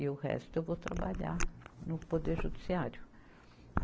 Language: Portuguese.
E o resto eu vou trabalhar no Poder Judiciário.